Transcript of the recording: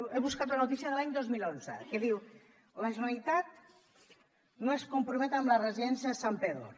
he buscat una notícia de l’any dos mil onze que diu la generalitat no es compromet amb la residència de santpedor